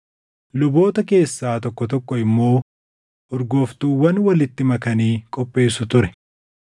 Luboota keessaa tokko tokko immoo urgooftuuwwan walitti makanii qopheessu ture.